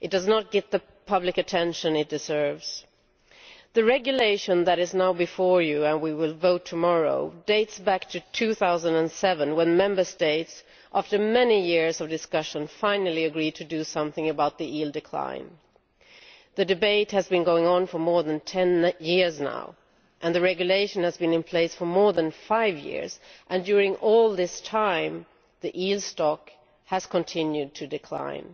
It does not get the public attention it deserves. The regulation that is now before you, and on which we will vote tomorrow, dates back to 2007 when Member States, after many years of discussion, finally agreed to do something about the eel decline. The debate has been going on for more than 10 years now and the regulation has been in place for more than five years, and during all this time the eel stock has continued to decline.